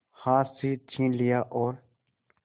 हाथ से छीन लिया और